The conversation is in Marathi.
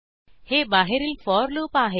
हे बाहेरील फोर लूप आहे